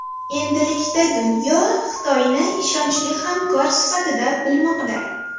Endilikda dunyo Xitoyni ishonchli hamkor sifatida bilmoqda.